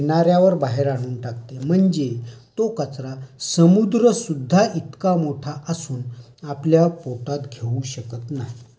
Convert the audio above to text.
समुद्रात टाकलेला सर्व प्रकारचा कचरा भरती येऊन गेल्यानंतर किनार् यावर जमा होतो. प्रत्येक लाट आपल्याबरोबर मनुष्याने समुद्रात टाकलेला कचरा